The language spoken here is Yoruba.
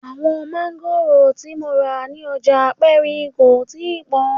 Àwọn máńgòrò tí mo rà ní ọjà aperin kò tíì pọn